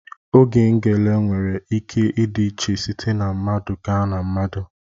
Ogo ngele nwere ike ịdị iche site na mmadụ gaa na mmadụ.